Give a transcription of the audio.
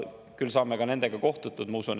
Küll saame ka nendega kohtutud, ma usun.